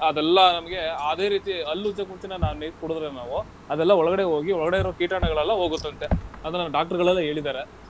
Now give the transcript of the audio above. ಅದೆಲ್ಲಾ ನಮ್ಗೆ ಅದೇ ರೀತಿ ಹಲ್ಲುಜ್ಜಕ್ ಮುಂಚೆನೇ ನಾವ್ ನೀರ್ ಕುಡ್ದ್ರೆ ನಾವು ಅದೆಲ್ಲಾ ಒಳಗಡೆ ಹೋಗಿ ಒಳಗಡೆ ಇರೋ ಕೀಟಾಣುಗಳೆಲ್ಲ ಹೋಗುತ್ತಂತೆ. ಅದನ್ನ ನಮ್ doctor ಗಳೆಲ್ಲ ಹೇಳಿದ್ದಾರೆ.